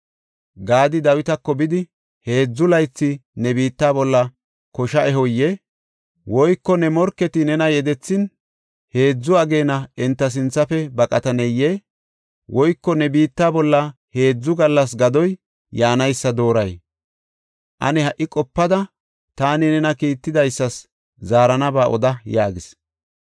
Gaadi Dawitako bidi, “Heedzu laythi ne biitta bolla kosha ehoyee? Woyko ne morketi nena yedethin, heedzu ageena enta sinthafe baqataneyee? Woyko ne biitta bolla heedzu gallas gadoy yaanaysa dooray? Ane ha77i qopada taani tana kiittidaysas zaaranaba oda” yaagis.